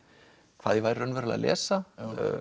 hvað ég væri raunverulega að lesa